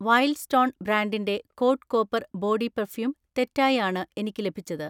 Wild stone ബ്രാൻഡിൻ്റെ code copper body perfume തെറ്റായി ആണ് എനിക്ക് ലഭിച്ചത്.